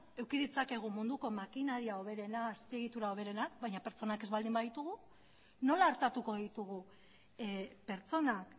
eduki ditzakegu munduko makinaria hoberena azpiegitura hoberena baina pertsonak ez baldin baditugu nola artatuko ditugu pertsonak